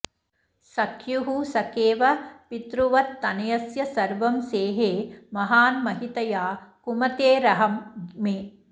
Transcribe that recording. सख्युः सखेव पितृवत्तनयस्य सर्वं सेहे महान् महितया कुमतेरघं मे